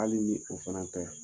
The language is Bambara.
Hali n'i o fana ta.